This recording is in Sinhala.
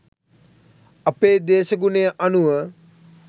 අපේ දේශගුණය අනුව